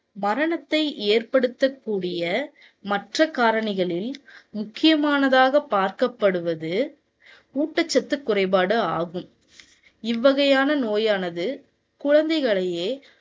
மரணத்தை ஏற்படுத்தக்கூடிய மற்ற காரணிகளில் முக்கியமானதாக பார்க்கப்படுவது ஊட்டச்சத்து குறைபாடு ஆகும். இவ்வகையான நோயானது குழந்தைகளையே